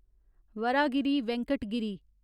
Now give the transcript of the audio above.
Varahagiri Venkata Giri